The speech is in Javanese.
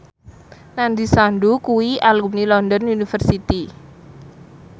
Nandish Sandhu kuwi alumni London University